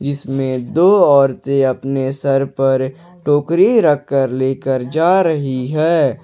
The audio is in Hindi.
इसमें दो औरतें अपने सर पर टोकरी रखकर लेकर जा रही है।